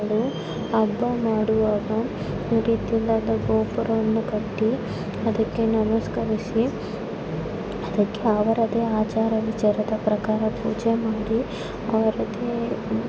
ಇದು ಹಬ್ಬ ಮಾಡುವಾಗ ಗುಡಿ ಗೋಪುರವನ್ನು ಕಟ್ಟಿ ಅದಕ್ಕೆ ನಮಸ್ಕರಿಸಿ ಅದಕ್ಕೆ ಅದರದೇ ಆದ ಆಚಾರ ವಿಚಾರ ಪ್ರಕಾರ ಪೂಜೆ ಮಾಡಿ ಆರತಿ ಬೆ --